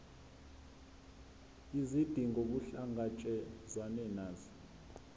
izidingo kuhlangatshezwane nazo